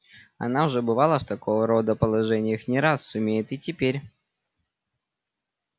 она уже бывала в такого рода положениях не раз сумеет и теперь